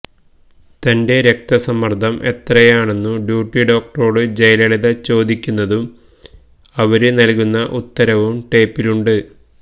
തന്റെ രക്തസമ്മര്ദം എത്രയാണെന്നു ഡ്യൂട്ടി ഡോക്ടറോടു ജയലളിത ചോദിക്കുന്നതും അവര് നല്കുന്ന ഉത്തരവും ടേപ്പിലുണ്ട്